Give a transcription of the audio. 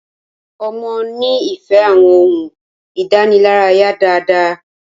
ọmọ ní ìfẹ àwọn ohùn idanilaraya dá dá